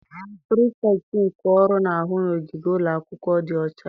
Pirifektị nke ọrụ na-ahụ n'ogige ụlọ akwụkwọ dị ọcha.